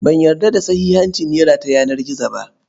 Ban yarda da sahihancin nera ta yanar gizo ba.